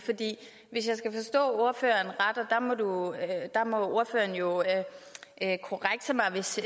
ordføreren må jo korrekse mig hvis